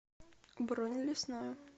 бронь лесное